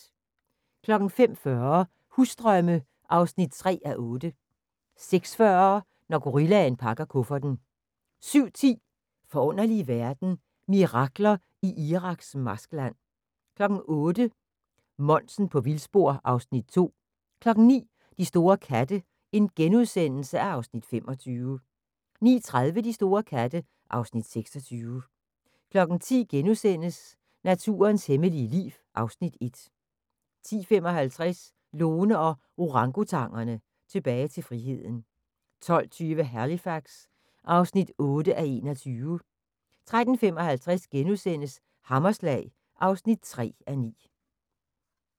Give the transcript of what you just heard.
05:40: Husdrømme (3:8) 06:40: Når gorillaen pakker kufferten 07:10: Forunderlige verden – Mirakler i Iraks marskland 08:00: Monsen på vildspor (Afs. 2) 09:00: De store katte (Afs. 25)* 09:30: De store katte (Afs. 26) 10:00: Naturens hemmelige liv (Afs. 1)* 10:55: Lone & Orangutangerne – Tilbage til friheden 12:20: Halifax (8:21) 13:55: Hammerslag (3:9)*